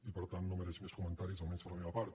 i per tant no mereix més comentaris almenys per la meva part